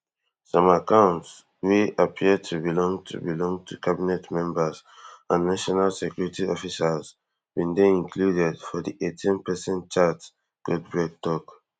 some accounts wey appear to belong to belong to cabinet members and national security officials bin dey included for di eighteenperson chat goldberg tok